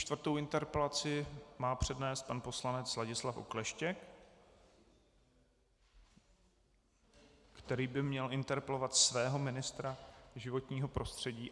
Čtvrtou interpelaci má přednést pan poslanec Ladislav Okleštěk..., který by měl interpelovat svého ministra životního prostředí.